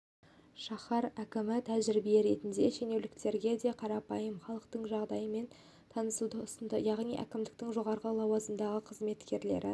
шаһар әкімі тәжірибе ретінде шенеуніктерге де қарапайым халықтың жағдайымен танысуды ұсынды яғни әкімдіктің жоғары лауазымды қызметкерлері